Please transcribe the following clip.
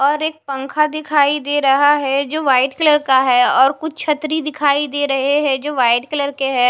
और एक पंखा दिखाई दे रहा है जो वाइट कलर का है और कुछ छतरी दिखाई दे रहे है जो वाइट कलर के है।